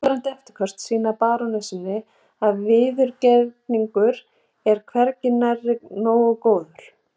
Langvarandi eftirköst sýna barónessunni að viðurgerningur er hvergi nærri nógu góður.